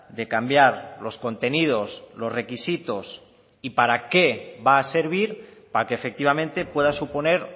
de cambiar los contenidos los requisitos y para qué va a servir para que efectivamente pueda suponer